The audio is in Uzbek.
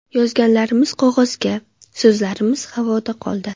Yozganlarimiz qog‘ozda, so‘zlarimiz havoda qoldi.